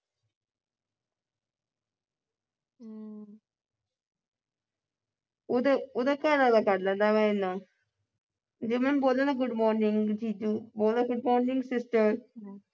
ਉਹਦੇ ਉਹਦਾ ਘਰ ਵਾਲਾ ਕਰ ਲੈਂਦਾ ਮੇਰੇ ਨਾਲ। ਜਿਵੇਂ ਬੋਲੋ ਨਾ good morning ਜੀਜੂ ਬੋਲਦਾ good morning sister